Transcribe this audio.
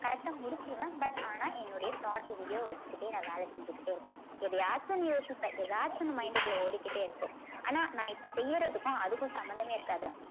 correct ஆ முடிச்சிருவேன் but ஆனா என்னுடைய thought எங்கேயோ வச்சிக்கிட்டே நான் வேலை செஞ்சுகிட்டே இருப்பேன். எதையாச்சும் ஒண்ணு யோசிப்பேன். ஏதாச்சும் ஒண்ணு mind க்குள்ள ஓடிக்கிட்டே இருக்கும். ஆனா நான் இப்போ செய்யுறதுக்கும் அதுக்கும் சம்பந்தமே இருக்காது